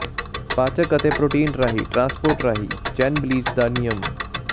ਪਾਚਕ ਅਤੇ ਪ੍ਰੋਟੀਨ ਰਾਹੀਂ ਟ੍ਰਾਂਸਪੋਰਟ ਰਾਹੀਂ ਚੈਨਬਿਲੀਜ ਦਾ ਨਿਯਮ